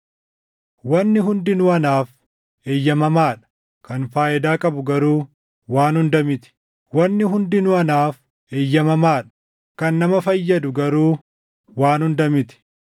“Wanni hundinuu anaaf eeyyamamaa dha;” kan faayidaa qabu garuu waan hunda miti. “Wanni hundinuu anaaf eeyyamamaa dha;” kan nama fayyadu garuu waan hunda miti.